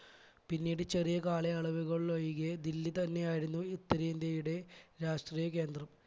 പിന്നീട് ചെറിയ കാലയളവുകളിൽ ഒഴികെ ദില്ലി തന്നെയായിരുന്നു ഉത്തരേന്ത്യയുടെ രാഷ്ട്രീയ കേന്ദ്രം. .